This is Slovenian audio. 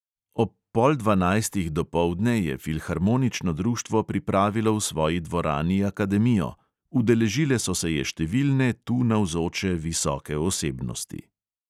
Ob pol dvanajstih dopoldne je filharmonično društvo pripravilo v svoji dvorani akademijo, udeležile so se je številne tu navzoče visoke osebnosti.